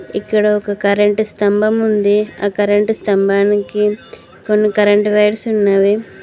ఇక్కడ ఒక కరెంట్ స్థంభం ఉంది ఆ కరెంట్ స్థంభానికి కొన్ని కరెంట్ వైర్స్ ఉన్నవి.